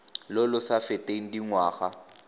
lo lo sa feteng dingwaga